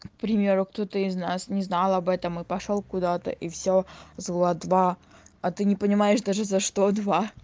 к примеру кто-то из нас не знал об этом и пошёл куда-то и всё зла два а ты не понимаешь даже за что два